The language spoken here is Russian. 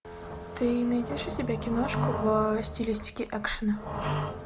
ты найдешь у себя киношку в стилистике экшена